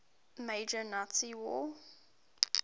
major nazi war